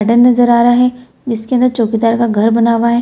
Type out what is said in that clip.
Garden नजर आ रहा है जिसके अंदर चौकीदार का घर बना हुआ है।